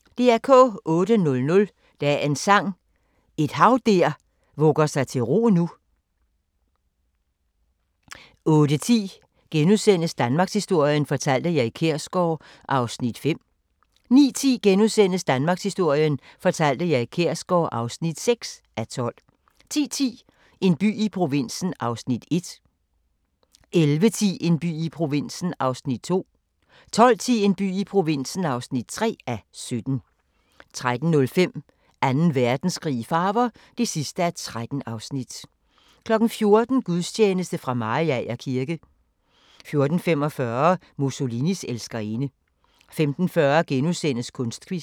08:00: Dagens Sang: Et hav der vugger sig til ro nu 08:10: Danmarkshistorien fortalt af Erik Kjersgaard (5:12)* 09:10: Danmarkshistorien fortalt af Erik Kjersgaard (6:12)* 10:10: En by i provinsen (1:17) 11:10: En by i provinsen (2:17) 12:10: En by i provinsen (3:17) 13:05: Anden Verdenskrig i farver (13:13) 14:00: Gudstjeneste fra Mariager kirke 14:45: Mussolinis elskerinde 15:40: Kunstquiz *